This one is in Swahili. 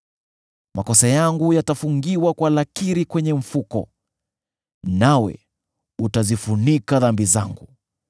Makosa yangu yatafungiwa kwa lakiri kwenye mfuko, nawe utazifunika dhambi zangu.